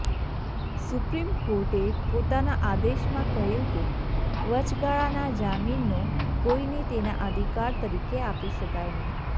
supreme કોર્ટે પોતાના આદેશમાં કહ્યું કે વચગાળાના જામીનનો કોઇને તેના અધિકાર તરીકે આપી શકાય નહીં